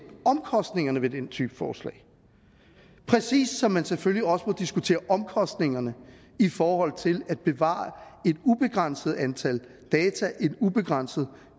omkostningerne ved den type forslag præcis som man selvfølgelig også må diskutere omkostningerne i forhold til at bevare et ubegrænset antal data i en ubegrænset